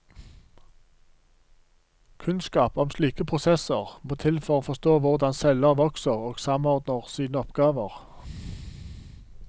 Kunnskap om slike prosesser må til for å forstå hvordan celler vokser og samordner sine oppgaver.